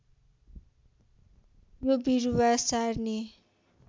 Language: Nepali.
यो बिरुवा सार्ने